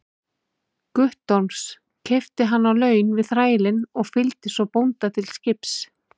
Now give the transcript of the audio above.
Guttorms, keypti hann á laun við þrælinn og fylgdi svo bónda til skips.